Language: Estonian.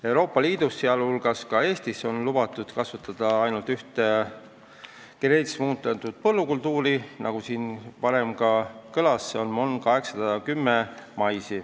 Euroopa Liidus, sh Eestis, on lubatud kasvatada ainult ühte geneetiliselt muundatud põllukultuuri, nagu siin varem ka kõlas, see on mais MON 810.